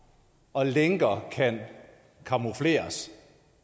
og lænker kan camoufleres